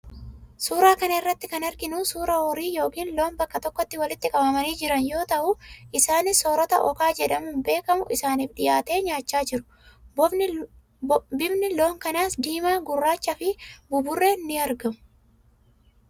Suuraa kana irratti kan arginu suuraa horii yookiin loon bakka tokkotti walitti qabamanii jiran yoo ta'u, isaanis soorata okaa jedhamuun beekamu isaaniif dhiyaate nyaacha jiru. Bifni loon kanaas diimaa, gurraachaa fi buburreen in argamu.